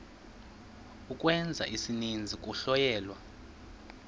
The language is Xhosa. ukwenza isininzi kuhlonyelwa